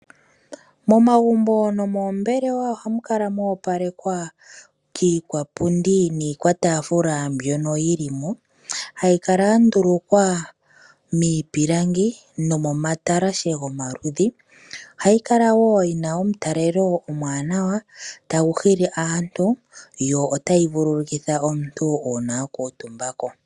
Momagumbo nomoombelewa oha mu kala moopalekwa kiikwapundi niikwatafuula mbyono yi li mo, hayi kala ya ndulukwa miipilangi nomomatalashe gomaludhi. Ohayi kala woo yi na omutalelo omwaanawa tagu hili aantu yo otayi vululukitha omuntu uuna wa kuutumba ko.